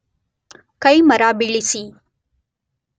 ಕೈಮರ ಬೀಳಿಸಿ